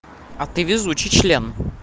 а ты везучий член